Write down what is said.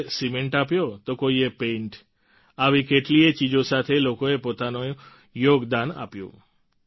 કોઈએ સીમેન્ટ આપ્યો તો કોઈએ પેઈન્ટ આવી કેટલીયે ચીજો સાથે લોકોએ પોતાનું યોગદાન આપ્યું